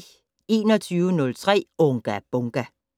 21:03: Unga Bunga!